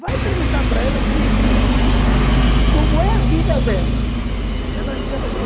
Vai perguntar para ela se se como é a vida dela, se ela